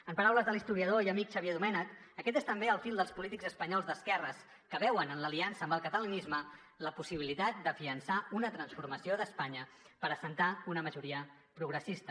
en paraules de l’historiador i amic xavier domènech aquest és també el fil dels polítics espanyols d’esquerres que veuen en l’aliança amb el catalanisme la possibilitat d’ afiançar una transformació d’espanya per assentar una majoria progressista